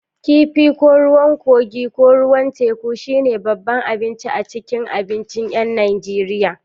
Kifi, ko ruwan kogii ko na ruwa teku, shine babban abinci a cikin abincin 'yan Najeriya.